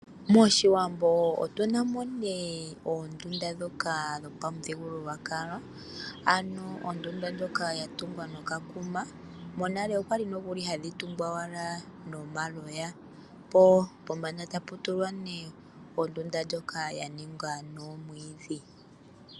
Moshiwambo otuna mo oondunda ndhoka dhopamuthigululwakalo, ano ondunda ndjoka ya tungwa nokakuma. Monale okwa li nokuli ha dhi tungwa owala nomaloya po pombanda tapu tulwa ondunda ndjoka ya ningwa nomwiidhi.